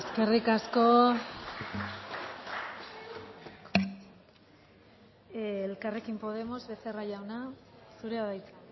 eskerrik asko elkarrekin podemos becerra jauna zurea da hitza